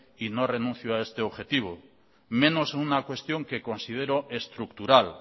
y no renuncio a este objetivo menos en una cuestión que considero estructural